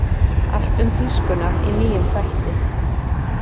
Allt um tískuna í nýjum þætti